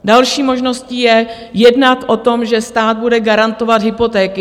Další možností je jednat o tom, že stát bude garantovat hypotéky.